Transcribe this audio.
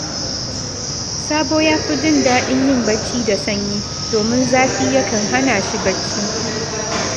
Sabo ya fi jin daɗin yin barci da sanyi, domin zafi yakan hana shi barci